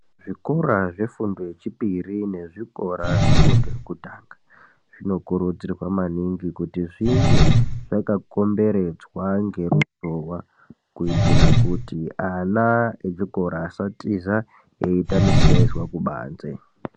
Zvikora zvefundo yechipiri nezvikora zvefundo yekutanga zvinokurudzirwa maningi kuti zvinge zvakakomberedzwa ngeruzhowa kuitira kuti ana echikora asatiza eiita misiyaizwa kubanze.